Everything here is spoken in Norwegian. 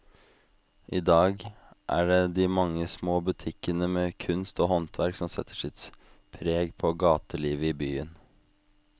I dag er det de mange små butikkene med kunst og håndverk som setter sitt preg på gatelivet i byen.